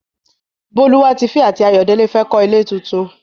Bólúwatifẹ́ àti Ayọ̀délé fẹ́ kọ́ ilé tuntun.